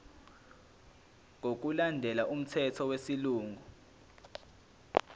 ngokulandela umthetho wesilungu